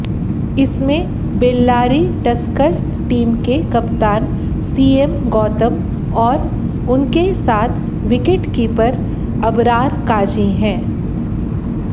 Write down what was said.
इनमें Bellary Tuskers team के कप्तान सीएम गौतम और उनके साथ विकेटकीपर अबरार काजी हैं